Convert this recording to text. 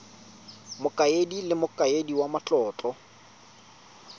mokaedi le mokaedi wa matlotlo